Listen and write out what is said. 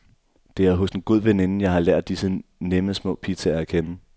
Det er hos en god veninde, jeg har lært disse nemme, små pizzaer at kende.